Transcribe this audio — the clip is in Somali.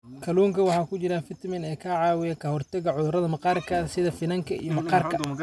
Kalluunka waxaa ku jira fiitamiin e ka caawiya ka hortagga cudurrada maqaarka sida finanka iyo maqaarka.